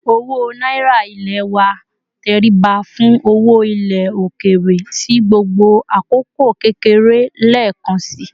Owo náírà ilé wa tẹríba fún owó ilé òkèèrè sì gbogbo àkókò kékeré lekansi